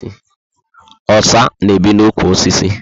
Osa na ebi na ụkwụ osisi